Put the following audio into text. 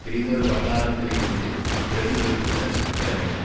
பிறிதொரு வட்டாரத்தில் இருந்து பிரதிபலிப்புக்கள் கிளம்பின